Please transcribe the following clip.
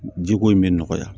Jiko in bɛ nɔgɔya